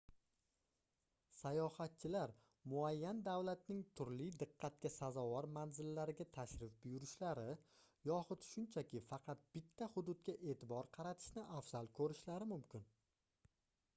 sayohatchilar muayyan davlatning turli diqqatga sazovor manzillariga tashrif buyurishlari yoxud shunchaki faqat bitta hududga eʼtibor qaratishni afzal koʻrishlari mumkin